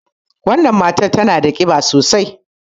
Wannan matar tana da ƙiba sosai.